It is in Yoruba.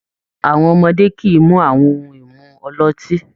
Àwọn ọmọdé kì í mu àwọn ohun-ìmu ọlọ́tí.